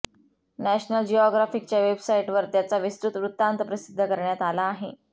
national जिऑग्राफिकच्या वेबसाइटवर त्याचा विस्तृत वृत्तांत प्रसिद्ध करण्यात आला आहे